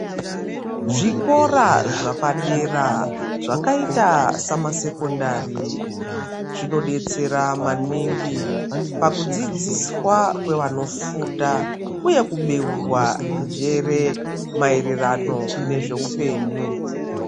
Zvikora zvepadera zvakaita semasekonari zvinodetsera maningu kukudzudziswa nevanofunda uye kubeurwa njere maererano nezvehupenyu.